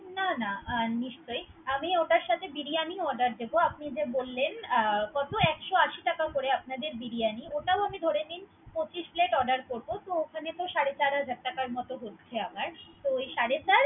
না না নিশ্চয়। আমি ওটার সাথে বিরিয়ানি ও Order দোব। আপনি যে বললেন অ কত একশো আশি টাকা করে আপনাদের বিরিয়ারি। ওটা আপনি ধরে নিন পচিশ Plate order করব। তো ওখানে তো সাড়ে চার হাজার টাকার মত হচ্ছে আমার। তো সাড়ে চার।